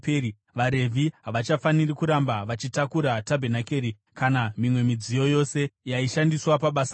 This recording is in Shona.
vaRevhi havachafaniri kuramba vachitakura tabhenakeri kana mimwe midziyo yose yaishandiswa pabasa rayo.”